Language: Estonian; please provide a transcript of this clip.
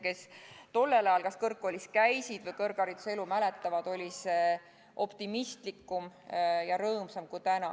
Kes tollel ajal kas kõrgkoolis käisid või kõrghariduse elu nägid, mäletavad, et see oli optimistlikum ja rõõmsam kui nüüd.